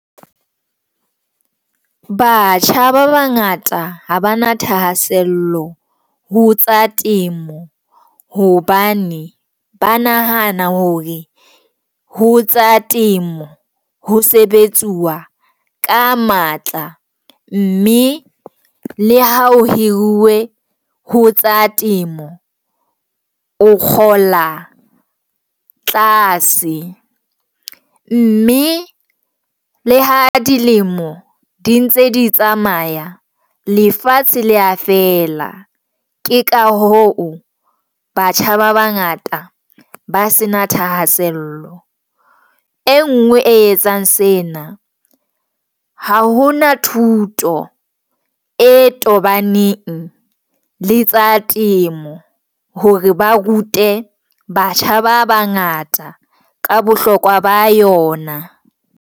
Batjha ba bangata ha ba na thahasello ho tsa temo hobane ba nahana hore ho tsa temo ho sebetsuwa ka matla, mme le ha o hiruwe ho tsa temo o kgola tlase, mme le ha dilemo di ntse di tsamaya lefatshe leya fela ke ka hoo batjha ba bangata ba se na thahasello.E ngwe e etsang sena ha hona thuto e tobaneng le tsa temo hore ba rute batjha ba bangata ka bohlokwa ba yona.